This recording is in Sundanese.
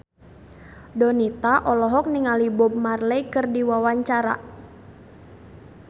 Donita olohok ningali Bob Marley keur diwawancara